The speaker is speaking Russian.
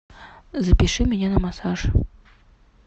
запиши меня на массаж